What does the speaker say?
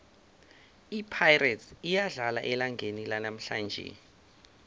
ipirates iyadlala elangeni lanamhlanje